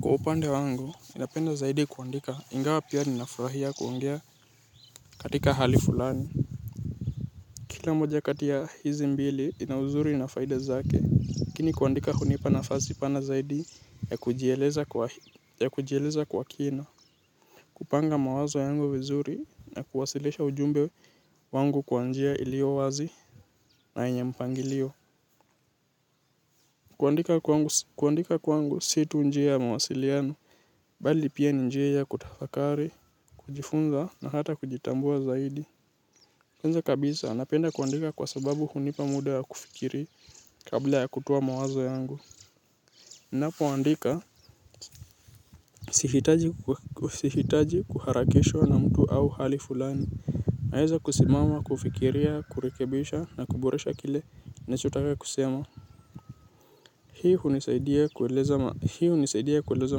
Kwa upande wangu ninapenda zaidi kuandika ingawa pia ninafurahia kuongea katika hali fulani. Kila mmoja kati ya hizi mbili ina uzuri na faida zake lakini kuandika hunipa nafasi pana zaidi ya kujieleza kwa kina. Kupanga mawazo yangu vizuri na kuwasilisha ujumbe wangu kwa njia iliyo wazi na yenye mpangilio. Kuandika kwangu si tu njia ya mawasiliano bali pia ni njia ya kutafakari, kujifunza na hata kujitambua zaidi. Kwanza kabisa napenda kuandika kwa sababu hunipa muda wa kufikiri kabla ya kutoa mawazo yangu napoandika sihitaji kuharakishwa na mtu au hali fulani naeza kusimama kufikiria kurekebisha na kuboresha kile nachotaka kuboresha. Hii hunisaidia kueleza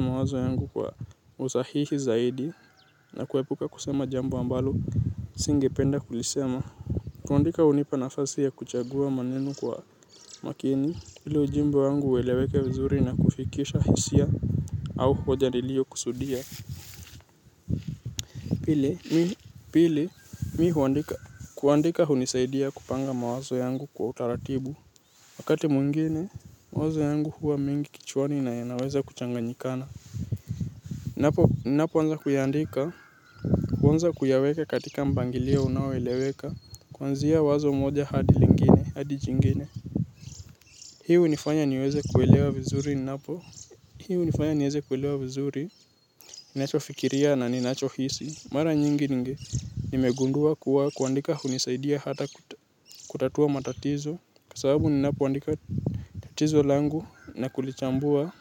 mawazo yangu kwa usahihi zaidi na kuepuka kusema jambo ambalo singependa kulisema. Kuandika hunipa nafasi ya kuchagua maneno kwa makini ili ujumbe wangu ueleweke vizuri na kufikisha hisia au hoja niliokusudia. Pili mimi huandika kuandika hunisaidia kupanga mawazo yangu kwa utaratibu. Wakati mwingine, mawazo yangu huwa mingi kichwani na yanaweza kuchanganyikana. Napoanza kuiandika. Kuanza kuyaweka katika mpangilio unaoeleweka. Kwanzia wazo moja hadi lingine, hadi jingine. Hii hunifanya niweze kuelewa vizuri napo. Hii hunifanya niweze kuelewa vizuri. Ninachofikiria na ninachohisi. Mara nyingi ninge. Nimegundua kuwa kuandika hunisaidia hata kutatua matatizo. Kwa sababu ninapoandika tatizo langu na kulichambua.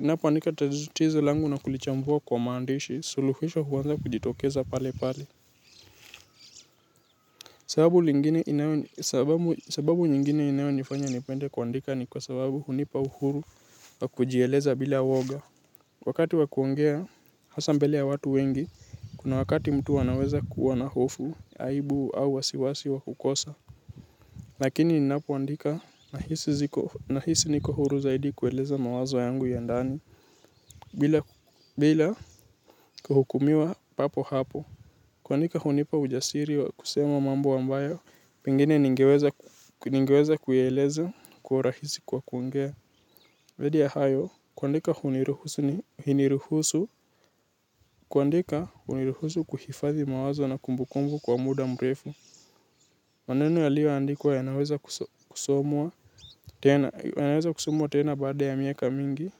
Na kulichambua kwa maandishi, suluhisho huanza kujitokeza pale pale. Sababu nyingine inayofanya nipende kuandika ni kwa sababu hunipa uhuru wa kujieleza bila woga. Wakati wa kuongea hasa mbele ya watu wengi, kuna wakati mtu anaweza kuwa na hofu, aibu au wasiwasi wa kukosa. Lakini ninapoandika nahisi niko huru zaidi kueleza mawazo yangu ya ndani bila bila kuhukumiwa papo hapo. Kuandika hunipa ujasiri wa kusema mambo ambayo pengine ningeweza kuieleza kwa urahisi kwa kuongea zaidi ya hayo kuandika huniruhusu kuhifadhi mawazo na kumbukumbu kwa muda mrefu maneno yaliyoandikwa yanaweza kusomwa tena, yanaweza kusomwa tena baada ya miaka mingi,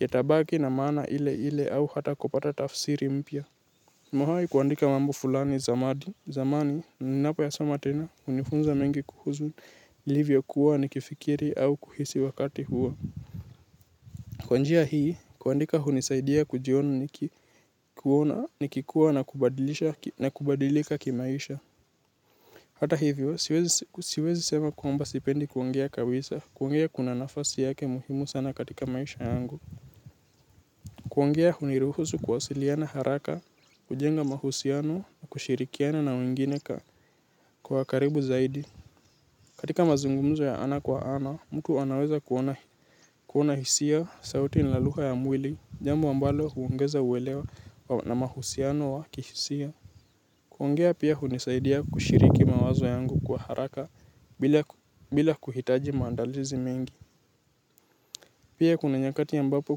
yatabaki na maana ile ile au hata kupata tafsiri mpya. Nimewahi kuandika mambo fulani zamani, zamani, ninapoyasoma tena, hunifunza mengi kuhusu, nilivyokuwa nikifikiri au kuhisi wakati huo. Kwa njia hii, kuandika hunisaidia kujiona nikikuwa na kubadilika kimaisha. Hata hivyo, siwezi sema kuomba sipendi kuongea kabisa, kuongea kuna nafasi yake muhimu sana katika maisha yangu. Kuongea huniruhusu kuwasiliana haraka, hujenga mahusiano, kushirikiana na wengine kwa karibu zaidi. Katika mazungumzo ya ana kwa ana, mtu anaweza kuona hisia, sauti na lugha ya mwili, jambo ambalo huongeza uelewo na mahusiano wa kihisia. Kuongea pia hunisaidia kushiriki mawazo yangu kwa haraka bila kuhitaji maandalizi mingi. Pia kuna nyakati ambapo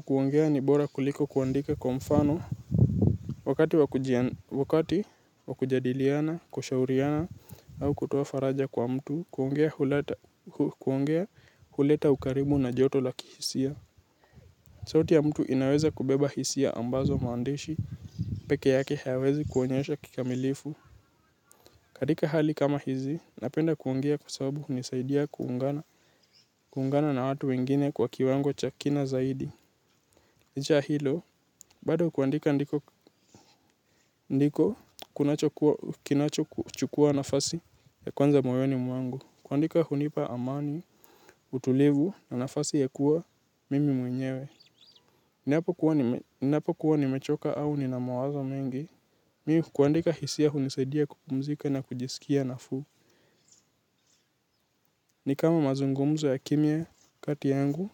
kuongea ni bora kuliko kuandika kwa mfano wakati wakujadiliana, kushauriana au kutoa faraja kwa mtu, kuongea huleta ukarimu na joto la kihisia. Sauti ya mtu inaweza kubeba hisia ambazo maandishi, peke yake hayawezi kuonyesha kikamilifu. Katika hali kama hizi, napenda kuongea kwa sababu hunisaidia kuungana na watu wengine kwa kiwango cha kina zaidi. Licha ya hilo bado kuandika ndiko kinachochukua nafasi ya kwanza moyoni mwangu. Kuandika hunipa amani, utulivu na nafasi ya kuwa mimi mwenyewe. Ninapokuwa nimechoka au nina mawazo mengi mimi kuandika hisia hunisaidia kupumzika na kujisikia nafuu. Ni kama mazungumzo ya kimya kati yangu.